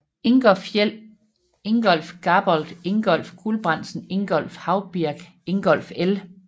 Ingolf Fjeld Ingolf Gabold Ingolf Gulbrandsen Ingolf Haubirk Ingolf L